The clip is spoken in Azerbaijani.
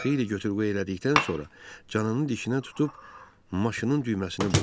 O xeyli götür-qoy elədikdən sonra canını dişinə tutub maşının düyməsini burdu.